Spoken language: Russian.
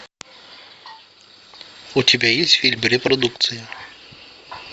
у тебя есть фильм репродукция